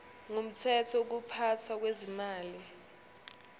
ngumthetho wokuphathwa kwezimali